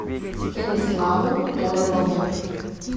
станиславу торопову